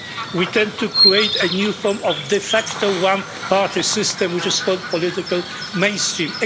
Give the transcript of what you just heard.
We tend to create a new form of de facto one party system which is called political mainstream.